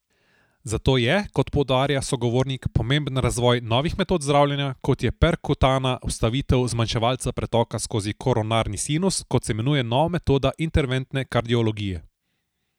Zato je, kot poudarja sogovornik, pomemben razvoj novih metod zdravljenja, kot je perkutana vstavitev zmanjševalca pretoka skozi koronarni sinus, kot se imenuje nova metoda interventne kardiologije.